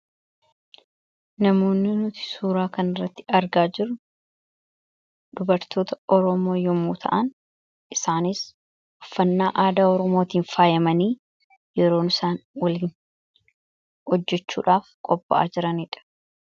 Namoonni nuti suuraa kan irratti argaa jiru dubartoota Oromoo yommuu ta'an isaanis uffannaa aadaa Oromootiin faayyemanii yeroon isaan waliin hojjechuudhaaf qopha'a jiraniidha.